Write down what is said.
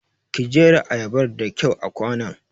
Ki jera ayabar da kyau a kwanon!